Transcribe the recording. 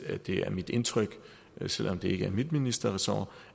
at det er mit indtryk selv om det ikke er mit ministerressort